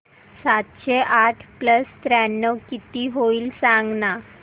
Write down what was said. सातशे आठ प्लस त्र्याण्णव किती होईल सांगना